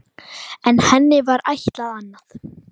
En henni var ætlað annað.